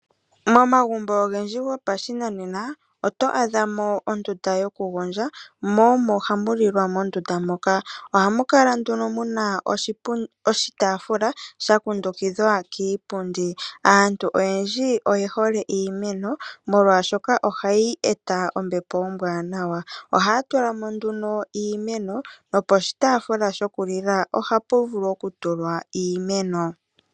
Momagumbo ogendji gopashinanena oto adha mo ondunda yoku gondja, mo omo hamu lilwa mondunda moka. Ohamu kala nduno muna oshitaafula shakundukidhwa kiipundi. Aantu oyendji oyehole iimeno molwashoka ohayi eta ombepo ombwaanawa. Ohaya tula mo nduno iimeno no poshitaafula shiku lila ohapu vulu okutulwa iimeno.